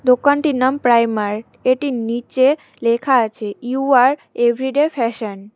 দোকানটির নাম প্রাইমার্ট এটির নীচে লেখা আছে ইউ আর এভরিডে ফ্যাশন ।